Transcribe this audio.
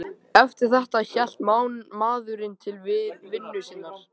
Eftir þetta hélt maðurinn til vinnu sinnar.